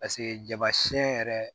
Paseke jaba siɲɛ yɛrɛ